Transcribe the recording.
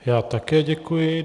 Já také děkuji.